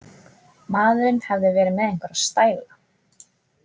Maðurinn hafði verið með einhverja „stæla“.